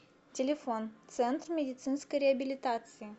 телефон центр медицинской реабилитации